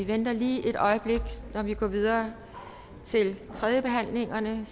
vi venter lige et øjeblik med at gå videre til tredjebehandlingerne